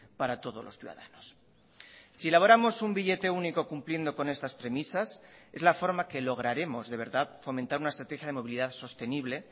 para todos los ciudadanos si elaboramos un billete único cumpliendo con estas premisas es la forma que lograremos de verdad fomentar una estrategia de movilidad sostenible